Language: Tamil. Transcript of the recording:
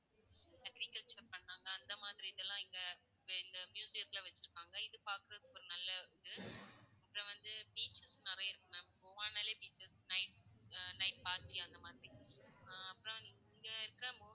agriculture பண்ணாங்க, அந்த மாதிரி இதெல்லாம் இங்க இந்த மியூசியத்துல வச்சிருப்பாங்க. இது பாக்குறதுக்கு ஒரு நல்ல இது. இங்கே வந்து beaches நிறைய இருக்கு ma'am கோவானாலே beaches night night party அந்த மாதிரி. ஹம் அப்பறம் இங்க இருக்குற